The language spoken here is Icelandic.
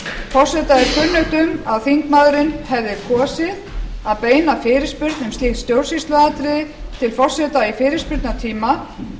forseta er kunnugt um að þingmaðurinn hefði kosið að beina fyrirspurn um slíkt stjórnsýsluatriði til forseta í fyrirspurnatíma